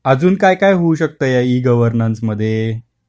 अजुन काय काय होऊ, शक्त या ई -गवर्नन्स मध्ये